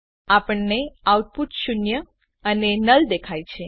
આપણને આઉટપુટ શૂન્ય અને નુલ દેખાય છે